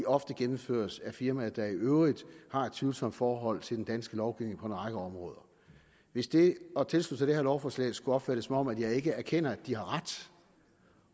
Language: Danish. ofte gennemføres af firmaer der i øvrigt har et tvivlsomt forhold til den danske lovgivning på en række områder hvis det at tilslutte sig det her lovforslag skulle opfattes som om jeg ikke erkender at de har ret